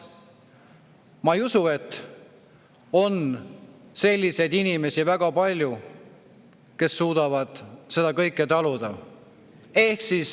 Ma ei usu, et on väga palju selliseid inimesi, kes suudavad seda kõike taluda.